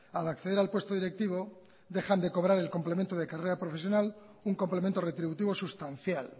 al acceder al puesto directivo dejan de cobrar el complemento de carrera profesional un complemento retributivo sustancial